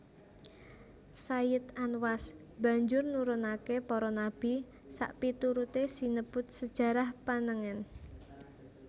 Sayid Anwas banjur nurunake para nabi sapiturute sinebut sejarah panengen